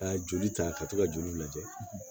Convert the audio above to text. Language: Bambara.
Ka joli ta ka to ka joli lajɛ